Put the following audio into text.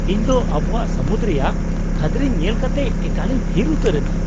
ᱤᱧᱫᱚ ᱟᱵᱚᱣᱟᱜ ᱥᱟᱹᱢᱩᱫ ᱨᱮᱭᱟᱜ ᱠᱷᱟᱹᱫᱽᱨᱤᱧ ᱧᱮᱞ ᱠᱟᱛᱮ ᱮᱠᱟᱞᱤᱧ ᱛᱷᱤᱨ ᱩᱛᱟᱹᱨ ᱮᱱᱟ ᱾